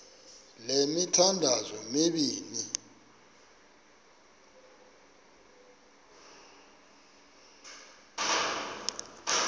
le mithandazo mibini